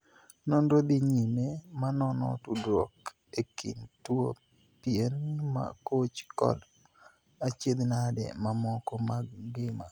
Nonro dhi nyime ma nono tudruok e kind tuo pien ma koch kod achiedhnade mamoko mag ngima.